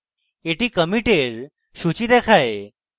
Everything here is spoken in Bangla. এটি কমিটের সূচী দেখায়